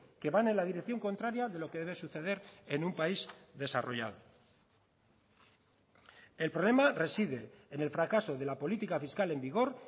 que van en la dirección contraria de lo que debe suceder en un país desarrollado el problema reside en el fracaso de la política fiscal en vigor